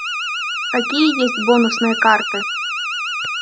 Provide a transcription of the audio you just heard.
какие есть бонусные карты